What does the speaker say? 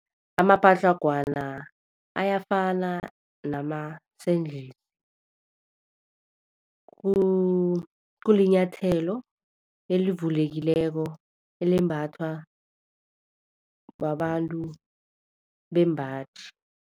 Amapatlagwana ayafana nama-sandal. Kulinyathelo elivulekileko elembathwa babantu bembaji.